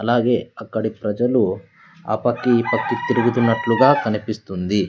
అలాగే అక్కడి ప్రజలు ఆ పక్కి ఈ పక్కి తిరుగుతున్నట్లుగా కనిపిస్తుంది.